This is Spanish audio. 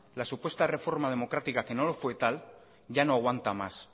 la supuesta reforma democrática que no lo fue tal ya no aguanta más